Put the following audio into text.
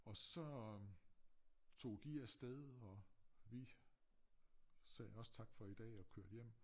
Og så tog de afsted og vi sagde også tak for i dag og kørte hjem